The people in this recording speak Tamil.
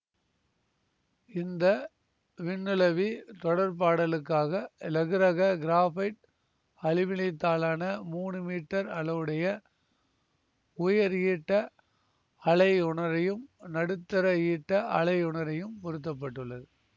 இந்த விண்ணுளவி தொடர்பாடலுக்காக இலகுரக கிராஃபைட்அலுமினியத்தாலான மூனு மீட்டர் அளவுடைய உயர்ஈட்ட அலையுணரியும் நடுத்தர ஈட்ட அலையுணரியும் பொருத்தப்பட்டுள்ளது